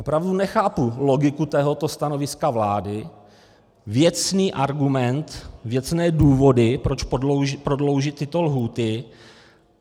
Opravdu nechápu logiku tohoto stanoviska vlády, věcný argument, věcné důvody, proč prodloužit tyto lhůty.